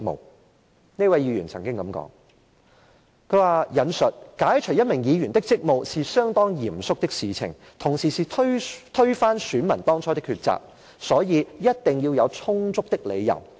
當時，有一位議員曾經這樣說，我引述："解除一名議員的職務，是相當嚴肅的事情，同時是推翻選民當初的抉擇，所以一定要有充足的理由......